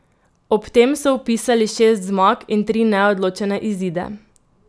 Ob tem so vpisali šest zmag in tri neodločene izide.